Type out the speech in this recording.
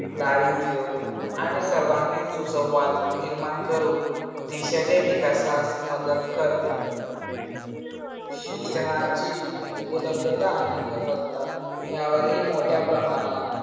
दारिद्र्य आणि सर्वांगीण सुसंवाद निर्माण करून देशाच्या विकासास मदत करते. शिक्षणाची उपलब्धता आणि गुणवत्ता यावरही मोठ्या प्रमाणात